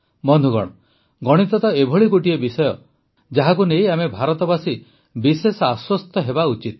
ବନ୍ଧୁଗଣ ଗଣିତ ତ ଏଭଳି ଗୋଟିଏ ବିଷୟ ଯାହାକୁ ନେଇ ଆମେ ଭାରତବାସୀ ବିଶେଷ ଆଶ୍ୱସ୍ତ ହେବା ଉଚିତ